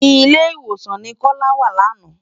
Ilé-Iwósán ni Kola wá làná